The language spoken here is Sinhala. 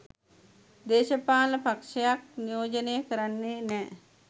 දේශපාලන පක්ෂයක් නියෝජනය කරන්නේ නෑ.